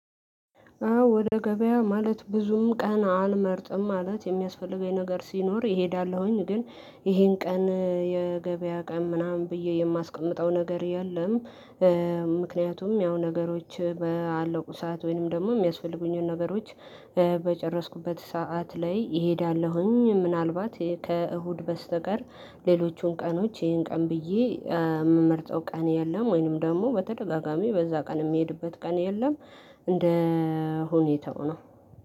አዎ ወደ ገበያ ማለት ብዙም ቀን አልመርጥም። ማለት የሚያስፈልገኝ ነገር ሲኖር እሄዳለሁኝ። ግን ይሄን ቀን የገበያ ቀን ምናምን ብዬ የማስቀምጠው ነገር የለም። ምክንያቱም ያው ነገሮች ባለቁ ሰዓት ወይንም ደግሞ የሚያስፈልጉኝን ነገሮች በጨረስኩበት ሰዓት ላይ እሄዳለሁኝ። ምናልባት ከእሁድ በስተቀር ሌሎቹን ቀኖች ይሄን ቀን ብዬ የምመርጠው ቀን የለም። ወይንም ደግሞ በተደጋጋሚ በዛ ቀን የሚሄድበት ቀን የለም። እንደ ሁኔታው ነው።